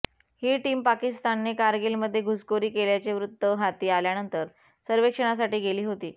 ही team पाकिस्तानने कारगिलमध्ये घुसखोरी केल्याचे वृत्त हाती आल्यानंतर सर्वेक्षणासाठी गेली होती